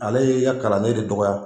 Ale ye i ka kalanden de dɔgɔya.